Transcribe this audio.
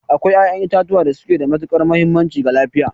Akwai ƴaƴan itatuwa da suke da matuƙar mahimmanci ga lafiya.